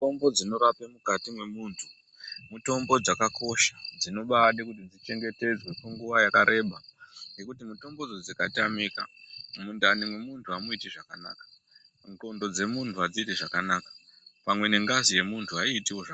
Mutombo dzinorapa mukati memunhu mitombo dzakakosa dzinobada kuti dziche ngetedzwe kwenguwa yakareba nekuti mitombo dzo dzikatamika mudani mekuntu hamuiti zvakanaka ndxondo dzemunhu hadziiti zvakanaka pamwe nengazi yemunhu haiiti zvakanaka .